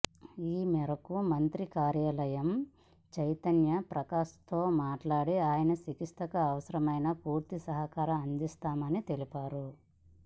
ఈ మేరకు మంత్రి కార్యాలయం చైతన్య ప్రకాశ్తో మాట్లాడి ఆయన చికిత్సకు అవసరమైన పూర్తి సహకారం అందిస్తామని తెలిపారు